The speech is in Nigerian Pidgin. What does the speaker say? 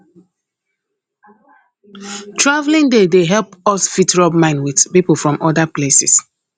travelling dey dey help us fit rub mind with pipo from other places